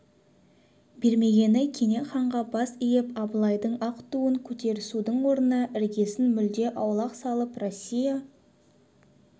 бермегені кене ханға бас иіп абылайдың ақ туын көтерісудің орнына іргесін мүлде аулақ салып россия